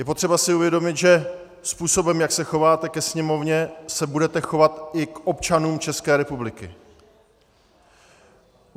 Je potřeba si uvědomit, že způsobem, jak se chováte ke Sněmovně, se budete chovat i k občanům České republiky.